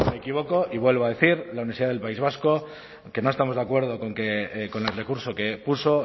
me equivoco y vuelvo a decir la universidad del país vasco que no estamos de acuerdo con el recurso que puso